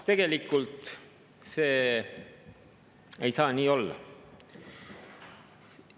Tegelikult ei saa see nii olla.